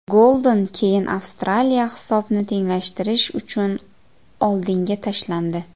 Goldan keyin Avstraliya hisobni tenglashtirish uchun oldinga tashlandi.